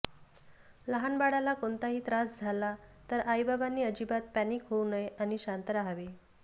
लहान बाळाला कोणताही त्रास झाला तर आई बाबांनी अजिबात पॅनिक होऊ नये आणि शांत राहावे